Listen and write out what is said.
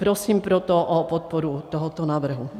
Prosím proto o podporu tohoto návrhu.